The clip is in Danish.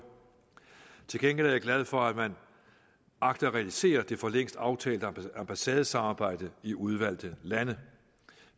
til gengæld er jeg glad for at man agter at realisere det for længst aftalte ambassadesamarbejde i udvalgte lande